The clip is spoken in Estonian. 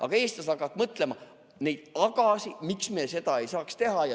" Aga eestlased hakkavad mõtlema neid agasid, miks me seda ei saaks teha.